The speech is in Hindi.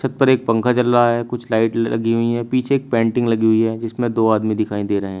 छत पर एक पंखा चल रहा है। कुछ लाइट ल लगी हुई हैं। पीछे एक पेंटिंग लगी हुई है जिसमें दो आदमी दिखाई दे रहे है।